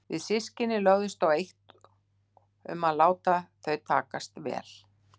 Við systkinin lögðumst á eitt um að láta þau takast vel.